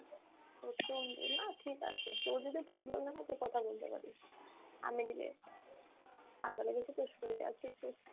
ঠিকাছে, তোর যদি problem না হয় তো কথা বলতে পারিস, আমি দিলে, ঠান্ডা লেগেছে তো শুয়ে আছি একটু।